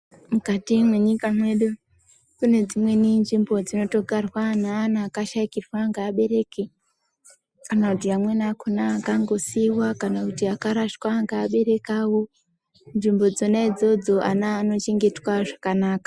Mukati me nyika mwedu kune dzimweni nzvimbo dzinoto garwa ne ana akashaikirwa nge abereki kana kuti amweni akona akango siwa kana kuti aka rashwa nge abereki awo nzvimbo dzona idzodzo ana ano chengetwa zvakanaka.